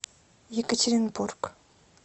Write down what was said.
екатеринбург